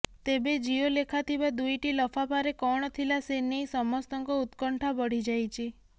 ତେବେ ଜିଓ ଲେଖାଥିବା ଦୁଇଟି ଲଫାଫାରେ କଣ ଥିଲା ସେ ନେଇ ସମସ୍ତଙ୍କ ଉତ୍କଣ୍ଠା ବଢିଯାଇଛି